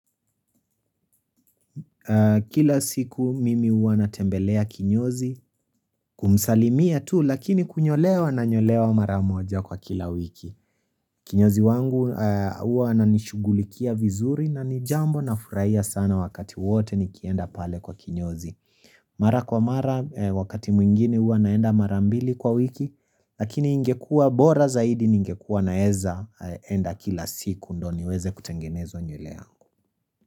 Kila siku mimi huwa natembelea kinyozi kumsalimia tu lakini kunyolewa nanyolewa mara moja kwa kila wiki kinyozi wangu uwa nanishugulikia vizuri na nijambo nafuraia sana wakati wote nikienda pale kwa kinyozi mara kwa mara wakati mwingine uwa naenda marambili kwa wiki lakini ingekua bora zaidi ningekua naeza enda kila siku ndo niweze kutengeneza nywele angu.